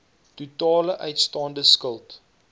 totale uitstaande skuld